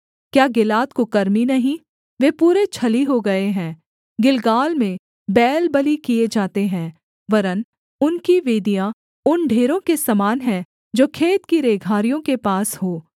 क्या गिलाद कुकर्मी नहीं वे पूरे छली हो गए हैं गिलगाल में बैल बलि किए जाते हैं वरन् उनकी वेदियाँ उन ढेरों के समान हैं जो खेत की रेघारियों के पास हों